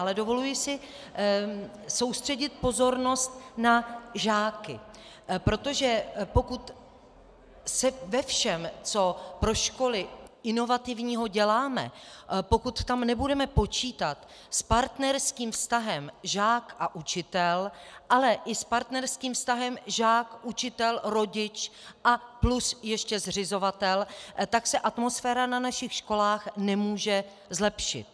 Ale dovoluji si soustředit pozornost na žáky, protože pokud se ve všem, co pro školy inovativního děláme, pokud tam nebudeme počítat s partnerským vztahem žák a učitel, ale i s partnerským vztahem žák - učitel - rodič a plus ještě zřizovatel, tak se atmosféra na našich školách nemůže zlepšit.